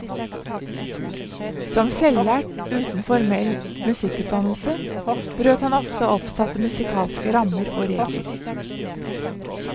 Som selvlært, uten formell musikkutdannelse, brøt han ofte oppsatte musikalske rammer og regler.